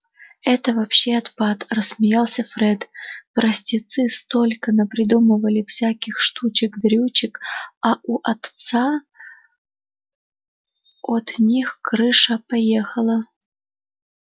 это вообще отпад рассмеялся фред простецы столько напридумывали всяких штучек-дрючек а у отца от них крыша поехала